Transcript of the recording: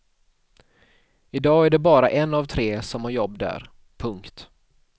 I dag är det bara en av tre som har jobb där. punkt